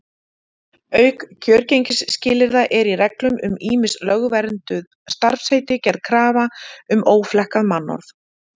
Auk kjörgengisskilyrða er í reglum um ýmis lögvernduð starfsheiti gerð krafa um óflekkað mannorð.